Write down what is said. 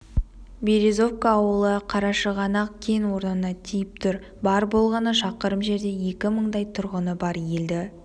березовка ауылы қарашығанақ кен орнына тиіп тұр бар болғаны шақырым жерде екі мыңдай тұрғыны бар елді